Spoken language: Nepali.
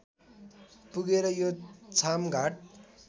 पुगेर यो छामघाट